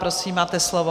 Prosím, máte slovo.